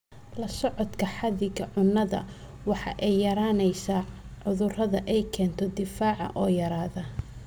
La socodka xadiga cunnada waxa ay yaraynaysaa cudurrada ay keento difaaca oo yaraada.